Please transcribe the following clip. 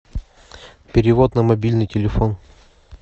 перевод на мобильный телефон